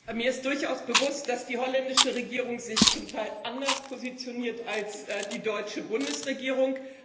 Herr Präsident! Mir ist durchaus bewusst, dass die holländische Regierung sich zum Teil anders positioniert als die deutsche Bundesregierung.